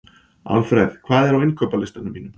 Alfred, hvað er á innkaupalistanum mínum?